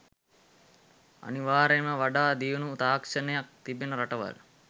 අනිවාර්යයෙන්ම වඩා දියුණු තාක්ෂණයක් තිබෙන රටවල්